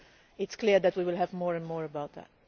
is clear that we will hear more and more about that.